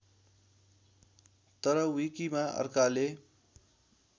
तर विकीमा अर्काले